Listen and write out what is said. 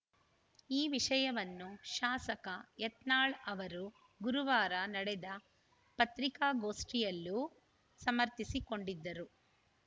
ಈ ವಿಷಯವನ್ನು ಶಾಸಕ ಯತ್ನಾಳ ಅವರು ಗುರುವಾರ ನಡೆದ ಪತ್ರಿಕಾಗೋಷ್ಠಿಯಲ್ಲೂ ಸಮರ್ಥಿಸಿಕೊಂಡಿದ್ದರು